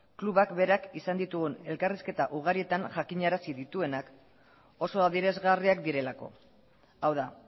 klubak berak izan ditugun elkarrizketa ugarietan jakinarazi dituenak oso adierazgarriak direlako hau da